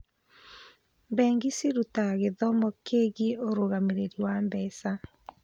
Bengi cirutaga gĩthomo kĩgiĩ ũrũgamĩrĩri wa mbeca.